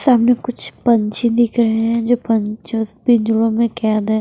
सामने कुछ पंछी दिख रहे हैं जो पंच पिंजरों में कैद हैं।